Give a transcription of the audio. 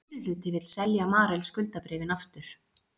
Meirihluti vill selja Marel skuldabréfin aftur